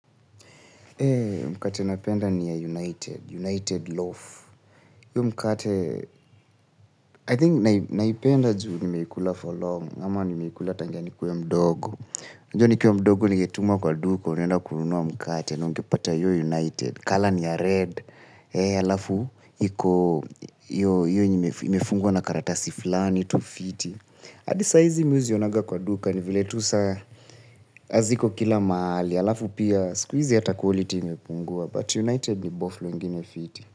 Mkate napenda ni ya United, United Loaf iyo mkate, I think naipenda juu nimeikula for long, ama nimeikula tangania nikue mdogo. Unajua nikiwa mdogo nikitumwa kwa duka, unaenda kununuwa mkate, na ungepata hiyo United, color ni ya red. Alafu, iko, hiyo imefungwa na karatasi fulani, tu fiti. Adi saizi mi huzionaga kwa duka, nivile tu sa, haziko kila mahali, alafu pia, sikuhizi ata quality imepungua. But United ni boflo ingine fiti.